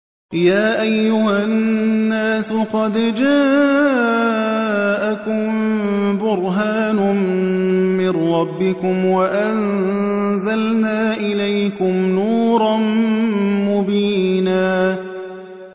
يَا أَيُّهَا النَّاسُ قَدْ جَاءَكُم بُرْهَانٌ مِّن رَّبِّكُمْ وَأَنزَلْنَا إِلَيْكُمْ نُورًا مُّبِينًا